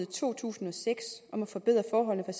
to tusind og seks om at forbedre forholdene